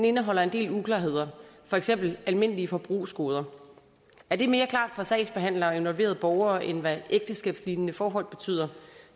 indeholder en del uklarheder for eksempel almindelige forbrugsgoder er det mere klart for sagsbehandlere og involverede borgere end hvad ægteskabslignende forhold betyder